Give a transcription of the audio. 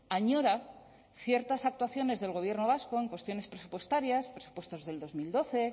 añora ciertas actuaciones del gobierno vasco en cuestiones presupuestarias presupuestos del dos mil doce